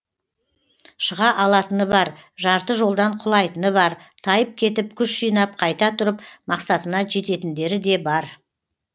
шыға алатыны бар жарты жолдан құлайтыны бар тайып кетіп күш жинап қайта тұрып мақсатына жететіндері де бар